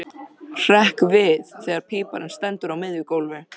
Hrekk við þegar píparinn stendur á miðju gólfi.